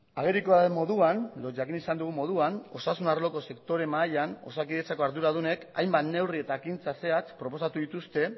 agerikoa den moduan edo jakin izan dugun moduan osasun arloko sektore mahaian osakidetzako arduradunek hainbat neurri eta ekintza zehatz proposatu dituzte